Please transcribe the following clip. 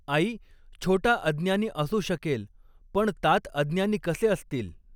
आई, छोटा अज्ञानी असू शकेल, पण तात अज्ञानी कसे असतील